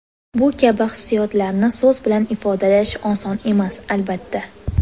Bu kabi hissiyotlarni so‘z bilan ifodalash oson emas, albatta.